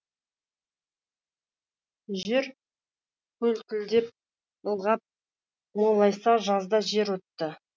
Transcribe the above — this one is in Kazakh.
жер көлкідеп ылғап молайса жазда жер отты